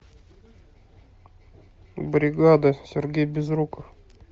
бригада сергей безруков